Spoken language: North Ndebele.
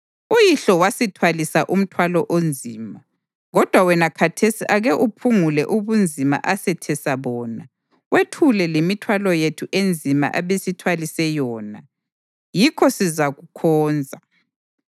“Uyihlo wasithwalisa umthwalo onzima, kodwa wena khathesi ake uphungule ubunzima asethesa bona, wethule lemithwalo yethu enzima abesithwalise yona, yikho sizakukhonza.”